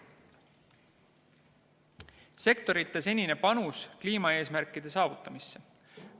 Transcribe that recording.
Sektorite senine panus kliimaeesmärkide saavutamisse.